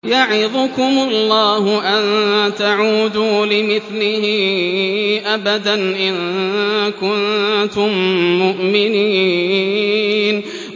يَعِظُكُمُ اللَّهُ أَن تَعُودُوا لِمِثْلِهِ أَبَدًا إِن كُنتُم مُّؤْمِنِينَ